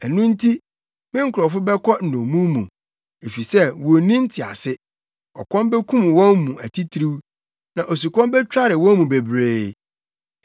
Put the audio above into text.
Ɛno nti, me nkurɔfo bɛkɔ nnommum mu, efisɛ wonni ntease; ɔkɔm bekum wɔn mu atitiriw na osukɔm betware wɔn mu bebree.